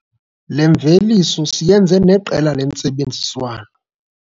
Le mveliso siyenze neqela lentsebenziswano.